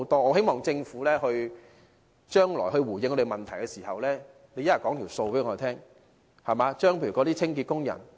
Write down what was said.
我希望政府將來回應我們的問題時，能告知我們有關的帳目。